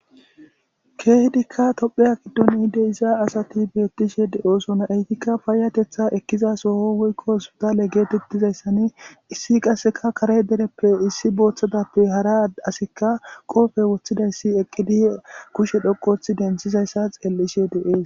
Keehidikka toophphiya giddon de7iza asathi beeththishee de7oosona; heythikka payyatheththaa ekkiza soho woykko hosppithaale geetheththizayssani issi qassikka kare dereppe issi boothathappe hara asikka qoophe woththidayssi eqqidi kushe dhoqqu ooththidi denththizayssa xeellishe de7oos.